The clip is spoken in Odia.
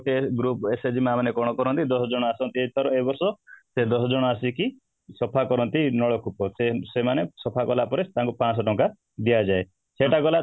group SAG ମାଆ ମାନେ କ'ଣ କରନ୍ତି ଦଶ ଜଣ ଆସନ୍ତି ଏଇବାରଶ ସେଇ ଦଶ ଜଣ ଆସିକି ସଫା କରନ୍ତି ନଳକୂପ ସେମାନେ ସଫା କଲା ପରେ ତାଙ୍କୁ ପାଂଶହ ଟଙ୍କା ଦିଆଯାଏ ସେଇଟା ଗଲା